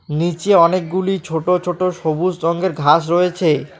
নীচে অনেকগুলি ছোট ছোট সবুজ রঙ্গের ঘাস রয়েছে।